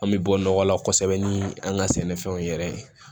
An bɛ bɔ nɔgɔ la kosɛbɛ ni an ka sɛnɛfɛnw yɛrɛ ye